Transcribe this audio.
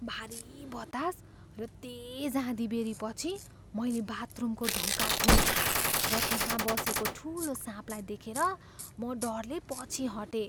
भारी बतास र तेज आँधीबेहरीपछि मैले बाथरुमको ढोका खोलेँ र त्यहाँ बसेको ठुलो साँपलाई देखेर म डरले पछि हटेँ।